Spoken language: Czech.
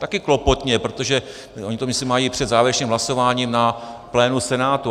Taky klopotně, protože oni to myslím mají před závěrečným hlasování na plénu Senátu.